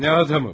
Nə adamı?